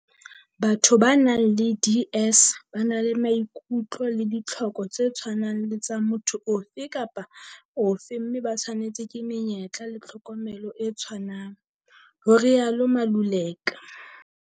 "Batho ba nang le DS ba na le maikutlo le ditlhoko tse tshwanang le tsa motho ofe kapa ofe mme ba tshwanetswe ke menyetla le tlhokomelo e tshwanang," ho rialo Maluleka.